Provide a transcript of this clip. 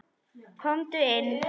Komdu inn